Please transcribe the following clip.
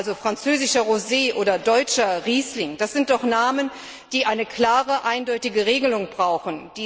Also französischer Rosé oder deutscher Riesling, das sind doch Namen, die eine klare, eindeutige Regelung brauchen.